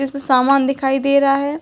इसमें सामान दिखाई दे रहा है।